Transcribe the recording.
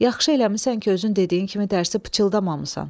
Yaxşı eləmisən ki, özün dediyin kimi dərsi pıçıldamamısan.